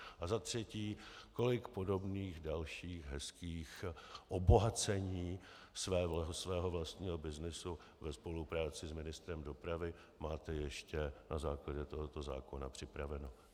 A za třetí, kolik podobných dalších hezkých obohacení svého vlastního byznysu ve spolupráci s ministrem dopravy máte ještě na základě tohoto zákona připraveno.